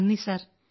നന്ദി സർ